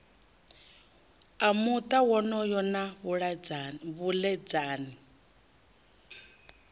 a muta wonoyo na vhaledzani